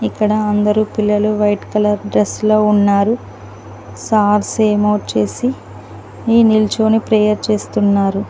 ఇక్కడ అందరూ పిల్లలు వైట్ కలర్ డ్రెస్ లో ఉన్నారు సాక్స్ ఏమో వచ్చేసి ఈ నిల్చోని ప్రేయర్ చేస్తున్నారు.